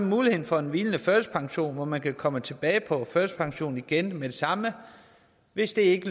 muligheden for en hvilende førtidspension hvor man kan komme tilbage på førtidspension igen med det samme hvis det ikke